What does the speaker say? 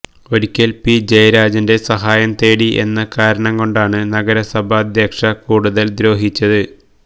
ഒരിക്കൽ പി ജയരാജന്റെ സഹായം തേടി എന്ന കാരണം കൊണ്ടാണ് നഗരസഭാധ്യക്ഷ കൂടുതൽ ദ്രോഹിച്ചത്